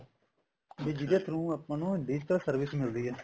ਵੀ ਜਿਹਦੇ through ਆਪਾਂ ਨੂੰ digital service ਮਿਲਦੀ ਹੈ